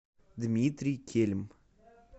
дмитрий кельм